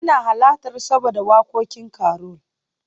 ina halarta saboda wakokin Carol